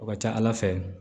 O ka ca ala fɛ